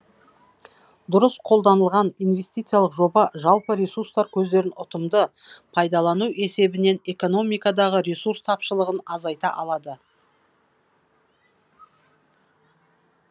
дұрыс қолданылған инвестициялық жоба жалпы ресурстар көздерін ұтымды пайдалану есебінен экономикадағы ресурс тапшылығын азайта алады